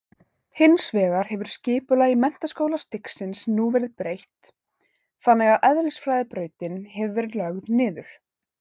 Hins vegar hefur skipulagi menntaskólastigsins nú verið breytt þannig að eðlisfræðibrautin hefur verið lögð niður.